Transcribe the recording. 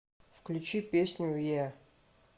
включи песню еа